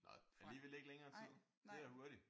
Nå alligevel ikke længere tid? Det er da hurtigt